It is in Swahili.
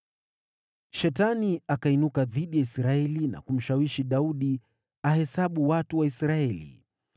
Shetani akainuka dhidi ya Israeli na kumshawishi Daudi ahesabu watu wa Israeli.